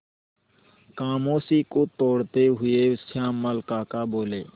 खामोशी को तोड़ते हुए श्यामल काका बोले